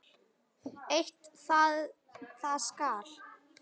Eitt paskal